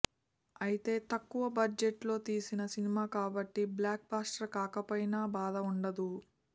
అయితే తక్కువ బడ్జెట్ లో తీసిన సినిమా కాబట్టి బ్లాక్ బస్టర్ కాకపోయినా బాధ ఉండదు